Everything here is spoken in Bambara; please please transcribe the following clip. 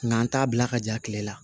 Nka an t'a bila ka ja kile la